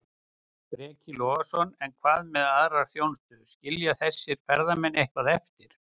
Breki Logason: En hvað með aðra þjónustu, skilja þessir ferðamenn eitthvað eftir?